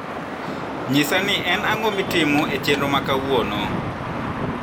nyisa ni en ang`o mitimo e chenro ma kauono